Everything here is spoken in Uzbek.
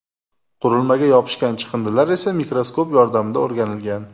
Qurilmaga yopishgan chiqindilar esa mikroskop yordamida o‘rganilgan.